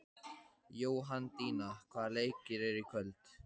Jóhanndína, hvaða leikir eru í kvöld?